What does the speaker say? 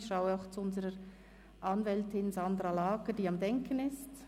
Ich schaue auch zu unserer Anwältin, Sandra Lagger, die am Denken ist.